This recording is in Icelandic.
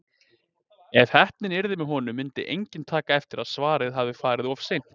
Ef heppnin yrði með honum myndi enginn taka eftir að svarið hafði farið of seint.